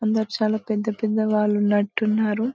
కింద చాలా పెద్ద పెద్ద వాళ్ళు ఉన్నట్టున్నారు .